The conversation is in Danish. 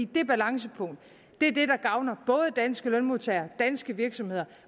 det balancepunkt er det der gavner både danske lønmodtagere danske virksomheder